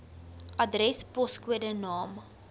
adres poskode naam